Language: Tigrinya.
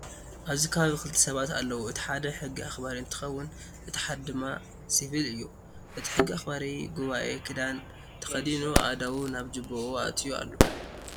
ኣብዚ ከባቢ ክልተ ሰባት ኣለው እቲ ሓደ ሕጊ ኣክባሪ እንትከውን እቲ ሓደ ድማ ሲቪል እዩ። እቲ ሕጊ ኣክበሪ ጉበኤ ክዳን ተከዲኑኣክእዳው ናብ ጅቡኣ ኣትዮ ኣሎ።